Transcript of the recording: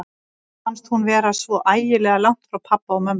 Henni fannst hún vera svo ægilega langt frá pabba og mömmu.